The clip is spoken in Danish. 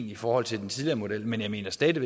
i forhold til den tidligere model men jeg mener stadig